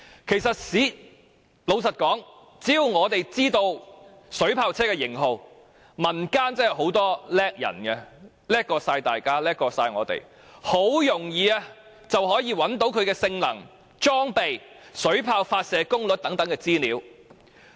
事實上，只要知道水炮車的型號，民間人才濟濟，其實很容易便能找到水炮車的性能、裝備及水炮發射功率等資料。